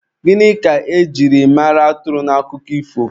Gịnị ka e jiri mara atụrụ n'akụkọ ifo?